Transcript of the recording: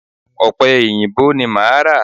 Ọ̀pẹ èyìǹbó ni máa ra.